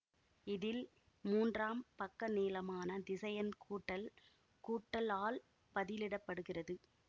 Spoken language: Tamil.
இதில் மூன்றாம் பக்கநீளமான திசையன் கூட்டல் கூட்டல் ஆல் பதிலிடப்படுகிறது